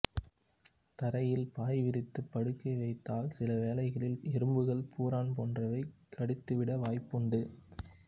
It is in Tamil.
தரையில் பாய்விரித்துப் படுக்க வைத்தால் சில வேளைகளில் எறும்புகள் பூரான் போன்றவை கடித்துவிட வாய்ப்புண்டு